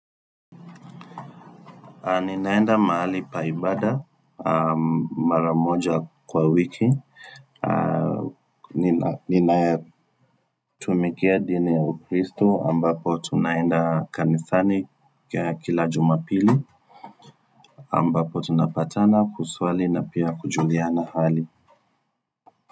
Ninaenda mahali pa ibada mara mara moja kwa wiki Ninayatumikia dini ya ukristo ambapo tunaenda kanisani kila jumapili ambapo tunapatana kuswali na pia kujuliana hali.